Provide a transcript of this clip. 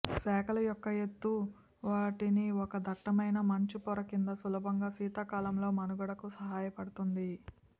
శాఖలు యొక్క ఎత్తు వాటిని ఒక దట్టమైన మంచు పొర క్రింద సులభంగా శీతాకాలంలో మనుగడకు సహాయపడుతుంది